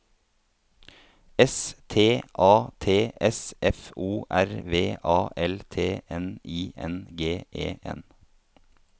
S T A T S F O R V A L T N I N G E N